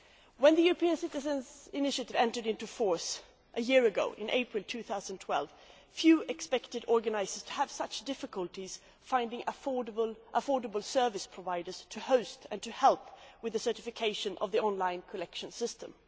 When the European Citizens' Initiative entered into force a year ago, in April 2012, few expected the organisers to have such difficulties in finding affordable service providers to host and to help with the certification of their online collection systems.